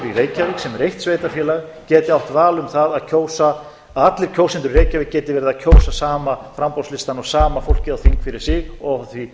í reykjavík sem er eitt sveitarfélag geti átt val um það að allir kjósendur í reykjavík geti verið að kjósa sama framboðslistann og sama fólkið á þing fyrir sig óháð því